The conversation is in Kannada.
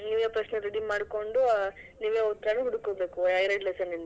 ಹ್ಮ್ ನೀವೇ ಪ್ರಶ್ನೆ ready ಮಾಡ್ಕೊಂಡು, ನೀವೇ ಉತ್ತರಾನೂ ಹುಡಿಕೋಬೇಕು ಆ ಎರಡ್ lesson ಇಂದು?